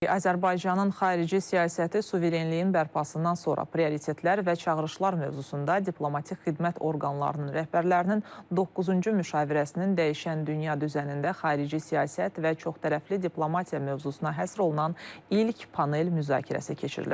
Azərbaycanın xarici siyasəti, suverenliyin bərpasından sonra prioritetlər və çağırışlar mövzusunda diplomatik xidmət orqanlarının rəhbərlərinin doqquzuncu müşavirəsinin dəyişən dünya düzənində xarici siyasət və çoxtərəfli diplomatiya mövzusuna həsr olunan ilk panel müzakirəsi keçirilib.